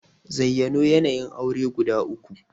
Zayyano yanayin aure guda uku?